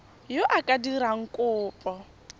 yo o ka dirang kopo